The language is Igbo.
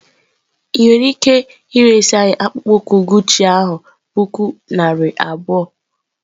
Ị nwere ike iresị anyị akpụkpọ ụkwụ Guchi a puku naira abụọ?